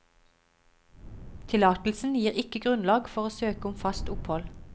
Tillatelsen gir ikke grunnlag for å søke om fast opphold.